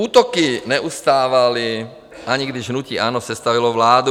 Útoky neustávaly, ani když hnutí ANO sestavilo vládu.